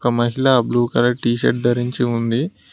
మహిళ blue colour T shirt ధరించి ఉంది.